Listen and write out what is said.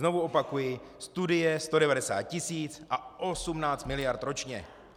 Znovu opakuji, studie 190 tisíc a 18 mld. ročně.